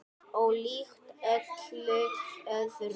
Ólíkt öllu öðru.